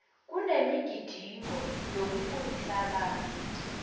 kunemigidingo yokufundisa abantu